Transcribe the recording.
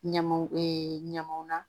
Ɲamaw ɲamaw na